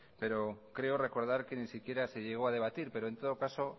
pero creo recordar que ni siquiera se llegó a debatir pero en todo caso